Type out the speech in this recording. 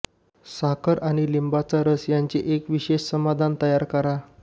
साखर आणि लिंबाचा रस यांचे एक विशेष समाधान तयार करा